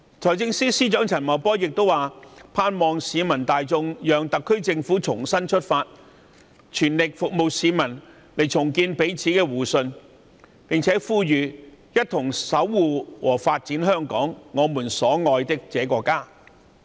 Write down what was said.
財政司司長陳茂波亦表示，盼望市民大眾讓特區政府重新出發，全力服務市民，重建彼此間的互信，一同守護和發展香港，我們所愛的這個家。